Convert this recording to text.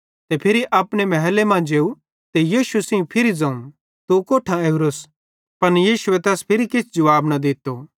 ते फिरी अपने महले मां जेव ते यीशु सेइं फिरी ज़ोवं तू कोट्ठां ओरोस पन यीशुए तैस किछ जुवाब न दित्तो